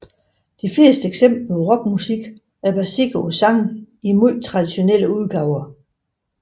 De fleste eksempler på rockmusik er baseret på sange i meget traditionelle udgaver